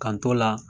K'an t'o la